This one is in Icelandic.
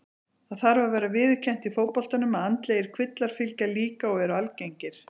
Það þarf að vera viðurkennt í fótboltanum að andlegir kvillar fylgja líka og eru algengir.